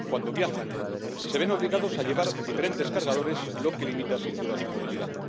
Cuando viajan, se ven obligados a llevar diferentes cargadores, lo que limita, sin duda, su movilidad.